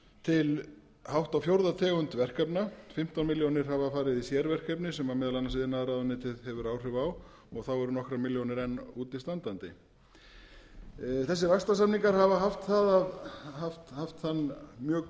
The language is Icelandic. til hátt á fjórða tegund verkefna fimmtán milljónir hafa farið í sérverkefni sem meðal annars iðnaðarráðuneytið hefur áhrif á og þá eru enn nokkrar milljónir útistandandi þessir vaxtarsamninga hafa haft þann mjög